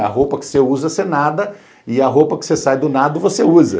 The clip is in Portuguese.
É a roupa que você usa, você nada, e a roupa que você sai do nada, você usa.